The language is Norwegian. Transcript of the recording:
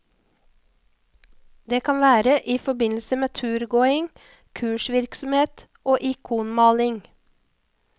Det kan være i forbindelse med turgåing, kursvirksomhet og ikonmaling.